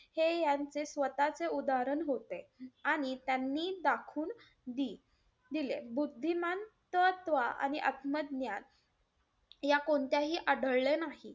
हे यांचे स्वतःचे उदाहरण होते. आणि त्यांनी दाखवून दि~ दिले. बुद्धिमान तत्व आणि आत्मज्ञान या कोणत्याही आढळले नाही.